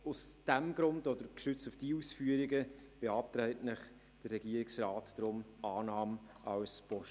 Aus diesem Grund, respektive gestützt auf diese Ausführungen, beantragt Ihnen der Regierungsrat für Punkt 1 Annahme als Postulat.